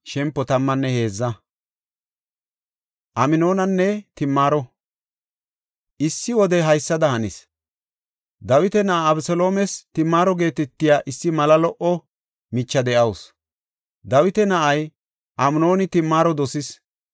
Issi wode haysada hanis. Dawita na7aa Abeseloomes Timaaro geetetiya issi mala lo77o micha de7awusu. Dawita na7ay Amnooni Timaaro dosis.